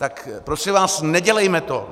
Tak prosím vás, nedělejme to.